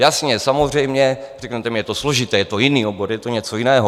Jasně, samozřejmě, řeknete mi, je to složité, je to jiný obor, je to něco jiného.